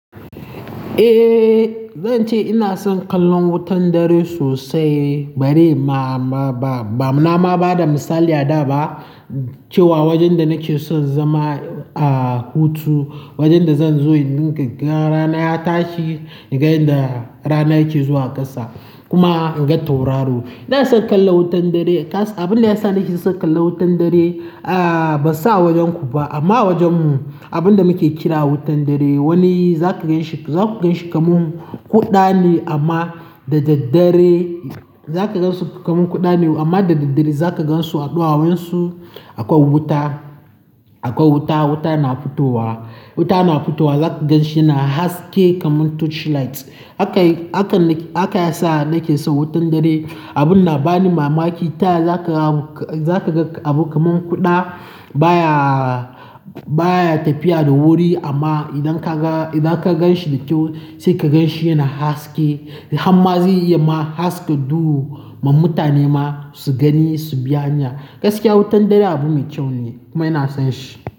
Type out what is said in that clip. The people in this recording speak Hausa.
Eh, zan ce ina son kallon wutan dare sosai bari ma, ba, ba, nama ba da misali a da ba cewa wajen da nake son zama a hutu, wajen da zan zo in nika rana ya tashi, ni ga yanda rana yake zuwa ƙasa kuma in ga tauraro. Ina son kallon wutan dare. Abin da yasa nake son kallon wutan dare, ah ban san a wajen ku ba amma a wajen mu abin da muke kira wutan dare wani za ka ganshi, za ku ganshi kamar kuɗa ne amma da daddare za ka gansu kamar kuɗa ne amma da daddare za ka gansu a ɗawowansu a kan wuta, a kan wuta, wuta na fitowa, wuta na fitowa za ka ganshi yana haske kamar torchlight. Haka, haka, haka yasa nake son wutan dare. Abin na ba ni mamaki. Ta yanzu za ka, za ka ga abu kamar kuɗa baya, baya tafiya da wuri amma idan ka ga, idan ka gan shi da kyau sai ka gan shi yana haske. Hamma zai iya ma haska duhu ma mutane ma su gani su biya hanya. Gaskiya wutan dare abu mai kyau ne kuma ina son shi.